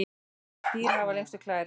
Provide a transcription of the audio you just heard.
hvaða dýr hafa lengstu klærnar